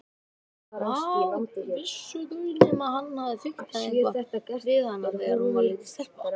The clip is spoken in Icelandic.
Hvað vissu þau nema hann hefði fiktað eitthvað við hana þegar hún var lítil stelpa.